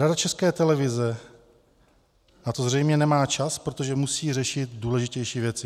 Rada České televize na to zřejmě nemá čas, protože musí řešit důležitější věci.